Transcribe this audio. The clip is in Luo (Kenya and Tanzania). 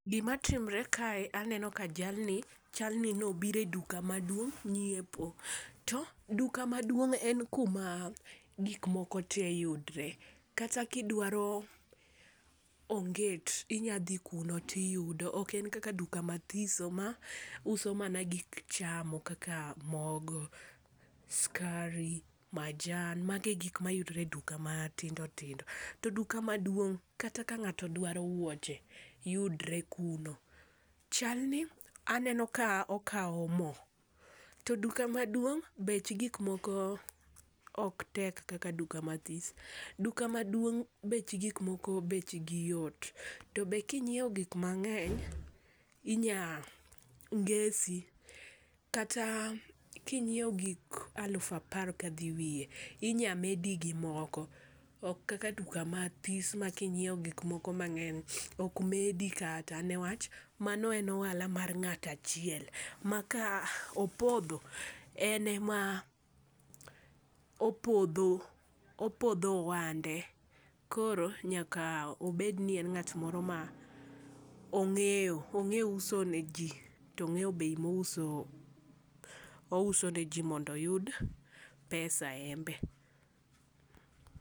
Gima timre kae, aneno ka jalni chalni nobiro e duka maduong' ng'iepo. To duka maduong' en kuma gikmoko te yudre. Kata kidwaro onget inyadhi kuno tiyudo. Oken kaka duka mathiso mauso mana gik chamo kaka mogo, skari, majan. Magi e gik mayudre e duka matindo tindo. To duka maduong' kata ka ng'ato dwaro wuoche, yudre kuno. Chalni aneno ka okao mo. To duka maduong', bech gikmoko oktek kaka duka mathis. Duka maduong' bech gikmoko bechgi yot. To be king'ieo gik mang'eny inya ngesi, kata kingi'eo gik alufu apar ka dhi wie, inya medi gimoko. Ok kaka duka mathis ma king'ieo gikmoko mang'eny okmedi kata, newach mano en ohala mar ng'ato achiel. Ma ka opodho, ene ma opodho, opodho ohande. Koro nyaka obedni en ng'at moro ma ong'eyo, ong'eyo uso ne jii to ong'eyo bei mouso ne jii mondo oyud pesa embe.